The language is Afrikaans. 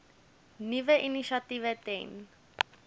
nuwe initiatiewe ten